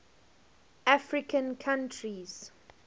african countries